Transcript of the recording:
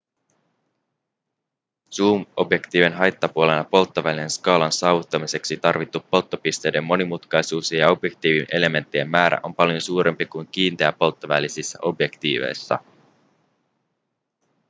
zoom-objektiivien haittapuolena polttovälien skaalan saavuttamiseksi tarvittu polttopisteiden monimutkaisuus ja objektiivielementtien määrä on paljon suurempi kuin kiinteäpolttovälisissä objektiiveissa